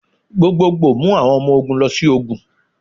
Gbogbogbo mu awọn ọmọ ogun lọ si ogun.